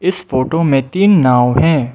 इस फोटो में तीन नाव हैं।